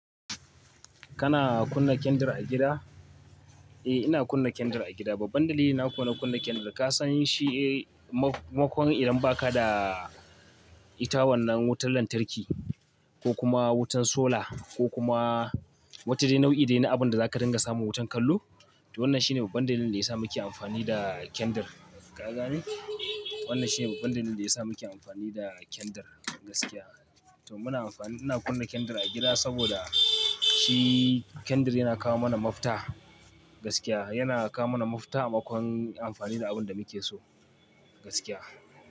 Kana kunna kendir a gida? Eh, ina kunna kendir a gida. Babban dalili na kuwa na kunna kendir, ka san shi makon idan ba ka da ita wannan wutar lantarki ko kuma wutan sola ko kuma wata dai nau'i dai na abin da zaka dinga samu wutan kallo. To wannan shine babban dalilin da ya sa muke amfani da kendir. Ka gane? Wannan shine babban dalilin da ya sa muke amfani da kendir gaskiya. To muna amfani, ina kunna kendir a gida saboda shi kendir yana kawo mana mafita gaskiya. Yana kawo mana mafita a makon amfani da abun da muke so gaskiya.